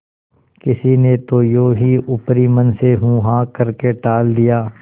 किसी ने तो यों ही ऊपरी मन से हूँहाँ करके टाल दिया